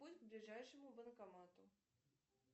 путь к ближайшему банкомату